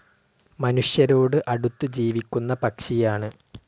മനുഷ്യരോട് അടുത്ത് ജീവിക്കുന്ന പക്ഷിയാണ്.